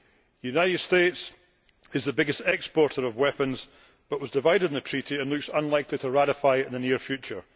The United States is the biggest exporter of weapons but was divided on the Treaty and looks unlikely to ratify it in the near future.